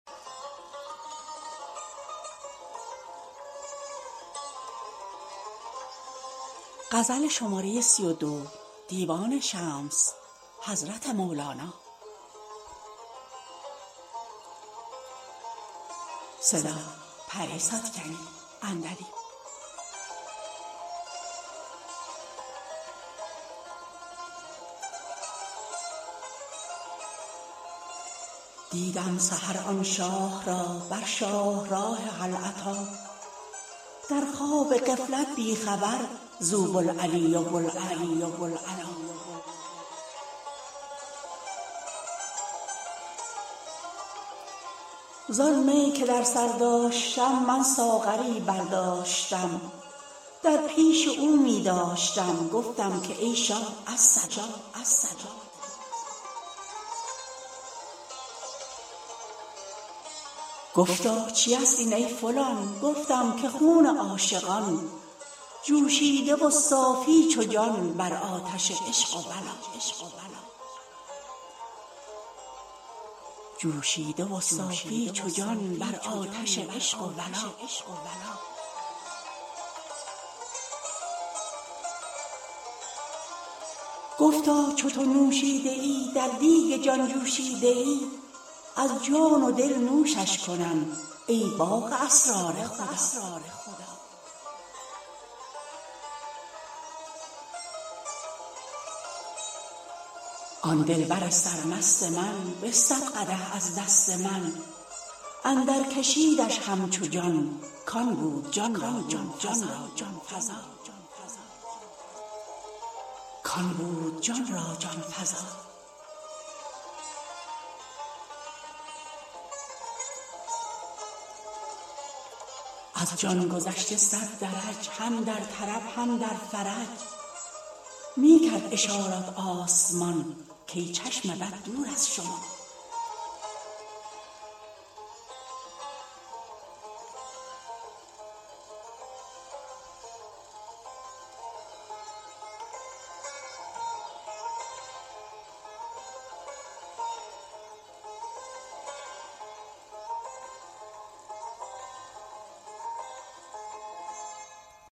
دیدم سحر آن شاه را بر شاهراه هل اتی در خواب غفلت بی خبر زو بوالعلی و بوالعلا زان می که در سر داشتم من ساغری برداشتم در پیش او می داشتم گفتم که ای شاه الصلا گفتا چیست این ای فلان گفتم که خون عاشقان جوشیده و صافی چو جان بر آتش عشق و ولا گفتا چو تو نوشیده ای در دیگ جان جوشیده ای از جان و دل نوشش کنم ای باغ اسرار خدا آن دلبر سرمست من بستد قدح از دست من اندرکشیدش همچو جان کان بود جان را جان فزا از جان گذشته صد درج هم در طرب هم در فرج می کرد اشارت آسمان کای چشم بد دور از شما